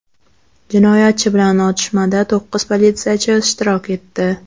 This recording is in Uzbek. Jinoyatchi bilan otishmada to‘qqiz politsiyachi ishtirok etdi.